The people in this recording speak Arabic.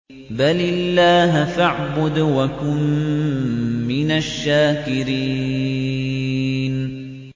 بَلِ اللَّهَ فَاعْبُدْ وَكُن مِّنَ الشَّاكِرِينَ